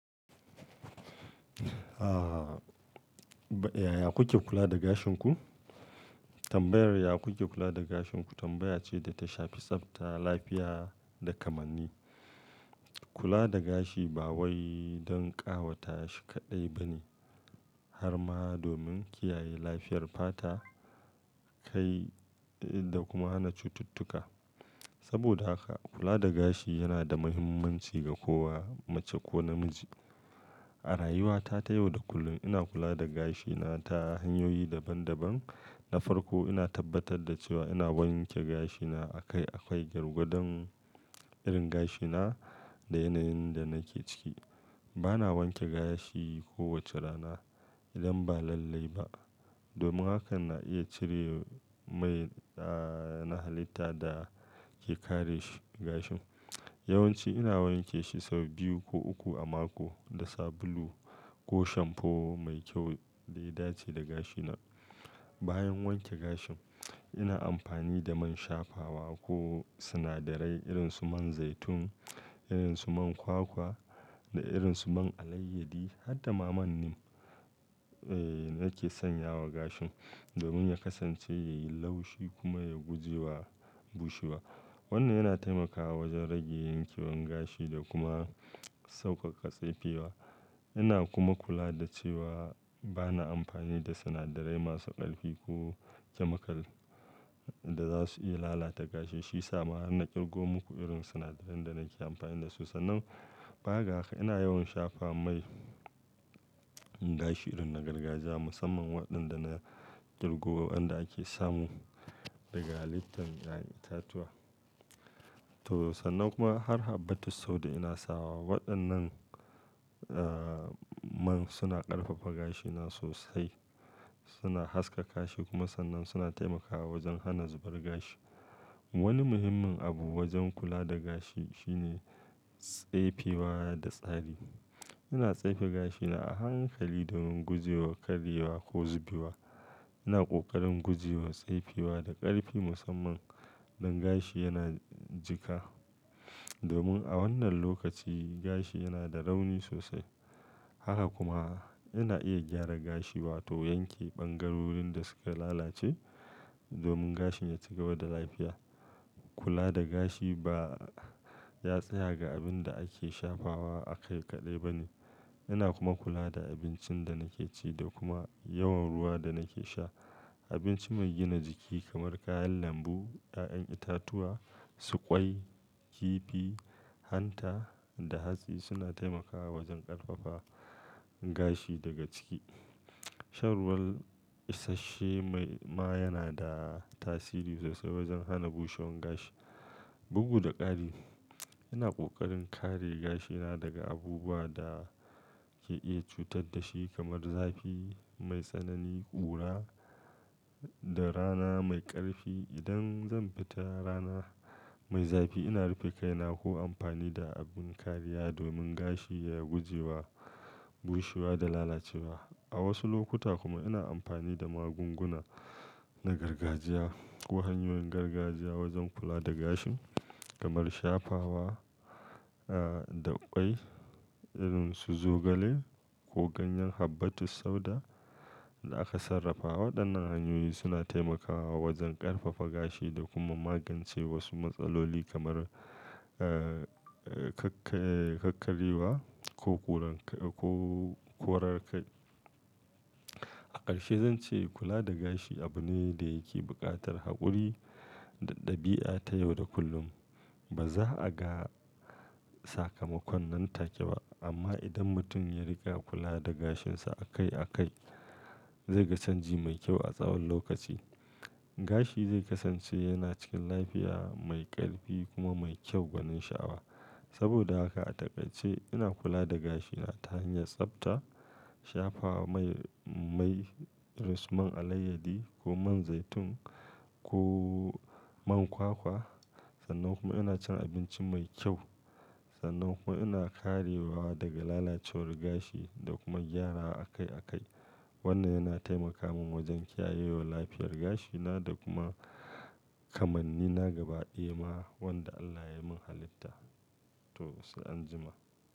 Ah, Yaya kuke kula da gashin ku? Tambayar yaya kuke kula da gashin ku tambaya ce da ta shafi tsafta, lafiya da kamanni. Kula da gashi ba wai don ƙawata shi kaɗai ba ne, har ma domin kiyaye lafiyar fata, kai da kuma hana cututtuka. Saboda haka kula da gashi yana da muhimmanci ga kowa, mace ko namiji. A rayuwata ta yau da kullum ina kula da gashina ta hanyoyi daban daban. Na farko ina tabbatar da cewa ina wanke gashina akai akai, gwargadon irin gashina da yanayin da nake ciki. Bana wanke gashi kowace rana idan ba lallai ba, domin haka na iya cire mai, ah, na halitta da ke kare shi, gashin. Yawan ci ina wanke shi sau biyu ko uku a mako da sabulu ko shampoo mai kyau da ya dace da gashina. Bayan wanke gashin, ina amfani da man shafawa ko sinadarai irin su man zaitun, irin su man kwakwa da irin su man alayyadi har da ma man neem, eh, nake sanya wa gashin domin ya kasance yayi laushi kuma ya gujewa bushewa. Wannan yana taimakawa wajen rage yankewan gashi da kuma sauƙaƙa tsefe wa. Ina kuma kula da cewa bana amfani da sinadarai masu ƙarfi ko chemical da za su iya lalata gashi. Shiyasa ma har na ƙirgo muku irin sinadarai da nake amfani da su. Sannan, za ka ga ina yawan shafa mai gashi irin na gargajiya musamman waɗanda na ƙirgo, wanda ake samu daga litin ƴa'ƴan itatuwa. To, sannan kuma har habbatus sauda ina sawa. Waɗannan, ah, man suna ƙarfafa gashina sosai, suna haskaka shi kuma sannan suna taimakawa wajen hana zubar gashi. Wani muhimmin abu wajen kula da gashi shine tsefe wa da tsari. Ina tsefe gashina a hankali domin gujewa karyewa ko zubewa. Ina ƙoƙarin gujewa tsefewa da ƙarfi musamman idan gashi yana jika, domin a wannan lokaci gashi yana da rauni sosai. Haka kuma ina iya gyara gashi wato yanke ɓangarorin da suka lalace domin gashin ya ci gaba da lafiya. Kula da gashi ba ya tsaya ga abin da ake shafawa akai kaɗai ba ne. Ina kuma kula da abincin da nake ci da kuma yawan ruwa da nake sha. Abinci mai gina jiki kamar kayan lambu, ƴaƴan itatuwa, su ƙwai, kifi, hanta da hatsi suna taimakawa wajen ƙarfafa gashi daga ciki. Shan ruwa issashe ma yana da tasiri sosai wajen hana bushewan gashi. Bugu da ƙari, ina ƙoƙarin kare gashina daga abubuwa da ke iya cutar da shi kamar zafi mai sanani, ƙura da rana mai ƙarfi. Idan zan fita rana mai zafi ina rufe kaina ko amfani da abin kariya domin gashi ya gujewa bushewa da lalacewa. A wasu lokuta kuma ina amfani da magunguna na gargajiya ko hanyoyin gargajiya wajen kula da gashi kamar shafawa, ah, da ƙwai irin su zogale ko ganyen habbatus sauda da aka sarrafa Waɗannan hanyoyi suna taimakawa wajen ƙarfafa gashi da kuma magance wasu matsaloli kamar, ah, eh, kakka-kakkaryewa ko koran kai, ko korar kai. A ƙarshe zan ce kula da gashi abu ne da yake buƙatar haƙuri da ɗabi'a ta yau da kullum. Ba za a ga sakamakon nan take ba, amma idan mutum ya riga kula da gashinsa akai akai zai ga canji mai kyau a tsawon lokaci. Gashi zai kasance yana cikin lafiya, mai ƙarfi kuma mai kyau gwanin sha'awa. Saboda haka a taƙaice ina kula da gashina ta hanyar tsafta, shafawa mai, mai irin su man alayyadi ko man zaitun ko man kwakwa. Sannan kuma ina cin abinci mai kyau. Sannan kuma ina karewa daga lalacewar gashi da kuma gyara akai akai. Wannan yana taimaka min wajen kiyayewa lafiyar gashina da kuma kamannina gaba ɗaya ma wanda Allah ya mun halitta. To, sai anjima.